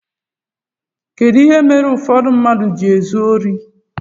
Kedu ihe mere ụfọdụ mmadụ ji ezu órí?